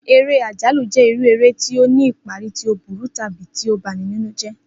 Eré àjálù jé irú eré tí ó ní ìparí tí ó burú tàbí tí ó ba ni nínú jé̩